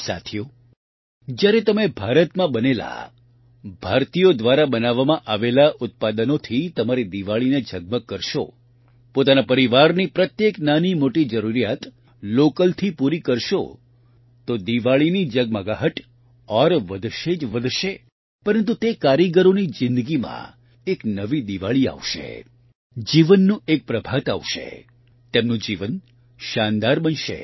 સાથીઓ જયારે તમે ભારતમાં બનેલા ભારતીયો દ્વારા બનાવવામાં આવેલા ઉત્પાદનોથી તમારી દિવાળીને ઝગમગ કરશો પોતાના પરિવારની પ્રત્યેક નાનીમોટી જરૂરિયાત લોકલથી પૂરી કરશો તો દિવાળીની ઝગમગાહટ ઓર વધશે જ વધશે પરંતુ તે કારીગરોની જીંદગીમાં એક નવી દિવાળી આવશે જીવનનું એક પ્રભાત આવશે તેમનું જીવન શાનદાર બનશે